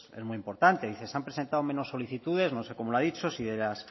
es muy importante dice se han presentado menos solicitudes no sé cómo lo ha dicho si